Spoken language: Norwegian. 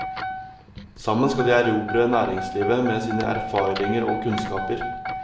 Sammen skal de erobre næringslivet med sine erfaringer og kunnskaper.